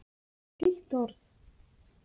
eitt orð!